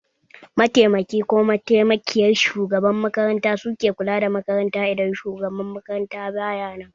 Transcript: Mataimaki/mataimakiyar shugaban makaranta suke kula da makaranta idan shugaban makaranta baya nan